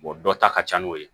dɔ ta ka ca n'o ye